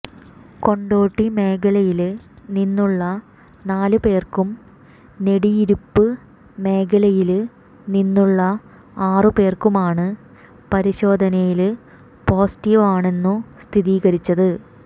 കൊണ്ടോട്ടി മേഖലയില് നിന്നുള്ള നാലുപേര്ക്കും നെടിയിരുപ്പ് മേഖലയില് നിന്നുള്ള ആറുപേര്ക്കുമാണ് പരിശോധനയില് പോസിറ്റീവാണെന്നു സ്ഥിരീകരിച്ചത്